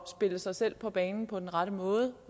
spille sig selv på banen på den rette måde